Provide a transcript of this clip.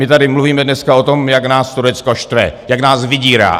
My tady mluvíme dneska o tom, jak nás Turecko štve, jak nás vydírá.